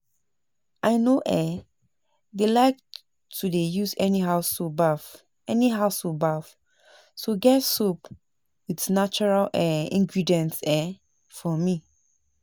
I no um dey like to dey use anyhow soap baff anyhow soap baff so get soap with natural um ingredients um for me